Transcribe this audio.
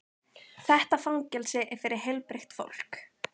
Þetta fangelsi er fyrir heilbrigt fólk.